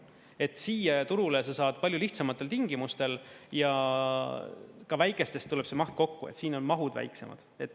Et siia turule sa saad palju lihtsamatel tingimustel ja ka väikestest tuleb see maht kokku, siin on mahud väiksemad.